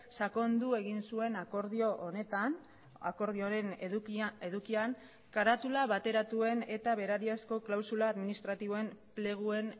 sakondu egin zuen akordioaren edukian karatula bateratuen eta berariazko klausula administratiboen pleguen